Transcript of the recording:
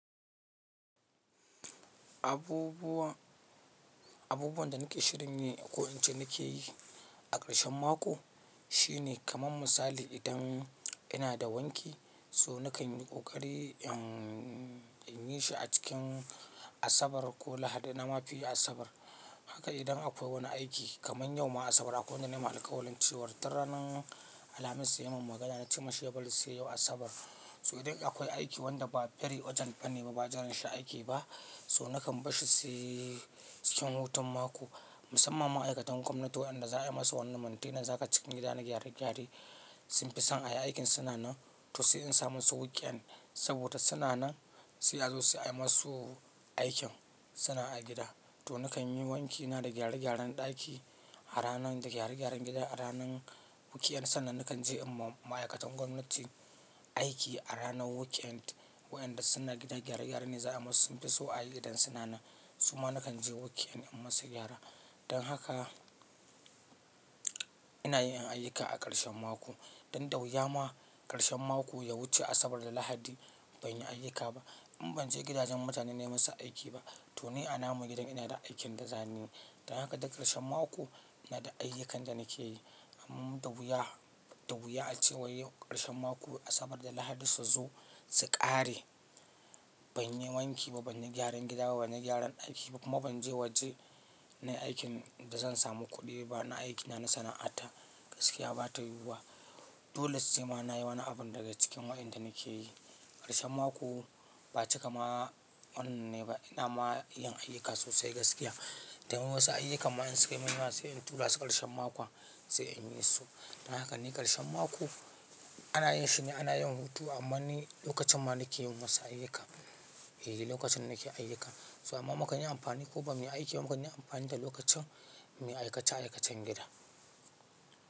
Abubuwa, abubuwan da nake shirin yi ko ince nake yi a ƙarshen mako shine kamar misali idan ina da wanki so nakan yi ƙoƙari in, in yi shi a cikin Asabar ko Lahadi na mafi yi Asabar. Haka idan akwai wani aiki kamar yau ma Asabar akwai wanda na yi ma'alƙawalin ce, war tun ranan Alhamis ya yi mun magana na ce mashi ya bari sai yau Asabar. So idan akwai aiki wanda ba very urgent bane ba ba'a jiran shi ake ba so nakan bashi sai cikin hutun mako. Musamman ma'aikatan gwamnati waɗanda za a yi musu wannan maintenance ha ka cikin gida na gyare gyare sun fi son a yi aikin suna nan to sai in samu su weekend saboda suna nan sai a zo su a yi masu aikin suna a gida. To nakan yi wanki na da gyare gyaren ɗaki a ranan da gyare gyaren gida a ranan weekend sannan nakan je in ma ma'aikatan gwamnati aiki a ranar weekend. Waɗanda suna gida gyare gyare ne za a musu sun fi so a yi idan suna nan. Su ma nakan je weekend in musu gyara. Dan haka ina yin ayyuka a ƙarshen mako. Dan dawuya ma ƙarshen mako ya wuce Asabar da Lahadi ban yi ayyuka ba. In ban je gidajen mutane na yi musu aiki ba to nai a namun gidan ina da aikin da zan yi. Dan haka duk ƙarshen mako ina da ayyukan da nake yi. Amma dawuya, dawuya a cewa waiyau ƙarshen mako Asabar da Lahadi su zo su ƙare ban yi wanki ba, ban yi gyaran gida ba, ban yi gyaran aiki ba kuma ban je waje na yi aikin da zan samu kuɗi ba na aikina na sana'ata gaskiya ba tayi yiwuwa. Dole sai ma nayi wani abun daga cikin waɗanda nake yi. Ƙarshen mako ba cika ma wannan ne ba ina ma yin ayyuka sosai gaskiya. Tayiwu wasu ayyukan ma in suka minya wasai in tura su ƙarshen makon sai in yi su. Dan haka ne ƙarshen mako ana yin shi ne ana yin hutu amma ni lokacin ma nake yin wasu ayyukan, eh lokacin nake ayyuka. So amma mukan yi amfani ko ba mu yi aiki mukan yi amfani da lokacin mu aikace aikacen gida.